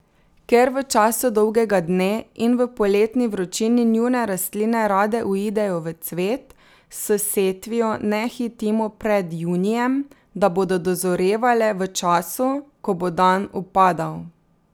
Ker v času dolgega dne in v poletni vročini njune rastline rade uidejo v cvet, s setvijo ne hitimo pred junijem, da bodo dozorevale v času, ko bo dan upadal.